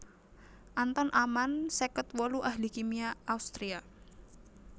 Anton Amann seket wolu ahli kimia Austria